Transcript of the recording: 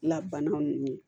La banaw n'u ye